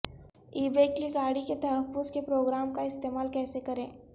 ای بے کی گاڑی کے تحفظ کے پروگرام کا استعمال کیسے کریں